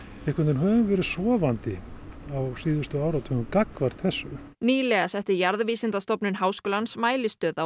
höfum verið sofandi á síðustu áratugum gagnvart þessu nýlega setti Jarðvísindastofnun Háskólans mælistöð á